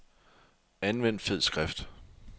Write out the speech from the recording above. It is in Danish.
Anvend fed skrift.